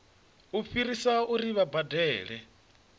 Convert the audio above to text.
u fhirisa uri vha badele